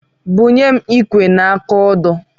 Bunye m ikwe na aka odo.